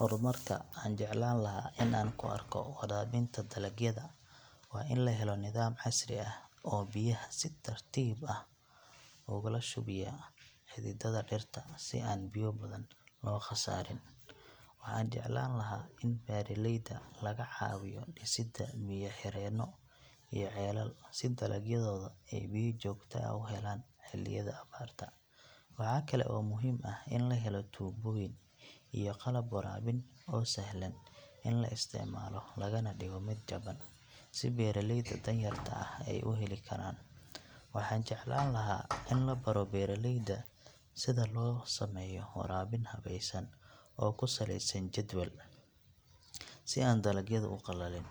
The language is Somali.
Horumarka aan jeclaan lahaa in aan ku arko waraabinta dalagyada waa in la helo nidaam casri ah oo biyaha si tartiib ah ugula shubaya xididada dhirta si aan biyo badan loo khasaarin. Waxaan jeclaan lahaa in beeraleyda laga caawiyo dhisidda biyo xireenno iyo ceelal si dalagyadooda ay biyo joogto ah u helaan xilliyada abaarta. Waxaa kale oo muhiim ah in la helo tuubooyin iyo qalab waraabin oo sahlan in la isticmaalo, lagana dhigo mid jaban si beeraleyda danyarta ah ay u heli karaan. Waxaan jeclaan lahaa in la baro beeraleyda sida loo sameeyo waraabin habaysan oo ku saleysan jadwal si aan dalagyadu u qalalin.